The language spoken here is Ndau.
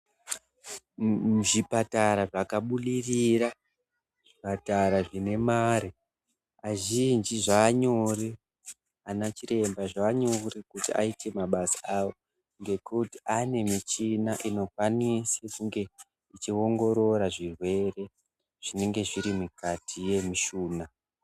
Muzvipatara zvakabudirira zvipatara zvine mare azhinji zvanyore anachiremba zvanyore kuti aite mabasa awo ngekuti anemichina inokwanisa kunge ichiongorora zvirwere zvinenge zvirimukati mwemishuna